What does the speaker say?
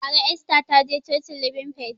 Bara Esther taje cocin libin fait